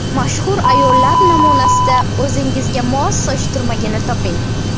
Mashhur ayollar namunasida o‘zingizga mos soch turmagini toping.